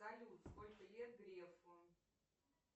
салют сколько лет грефу